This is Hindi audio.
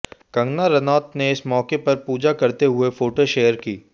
कंगना रनौत ने इस मौके पर पूजा करते हुए फोटो शेयर की